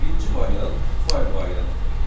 Birinci variant fayl variantıdır.